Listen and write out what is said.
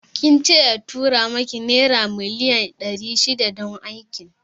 Kince ya tura miki naira miliyan ɗari shida don Aikin?